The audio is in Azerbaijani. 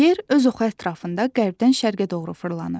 Yer öz oxu ətrafında qərbdən şərqə doğru fırlanır.